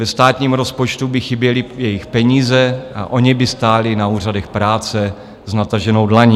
Ve státním rozpočtu by chyběly jejich peníze a oni by stáli na úřadech práce s nataženou dlaní.